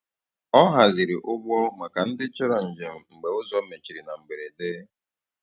Ọ hazìrì̀ ụgbọ̀ maka ndị chọrọ̀ njem mgbe ụzọ mechirì na mberede.